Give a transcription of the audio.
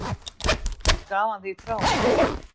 Ég gaf hann því frá mér.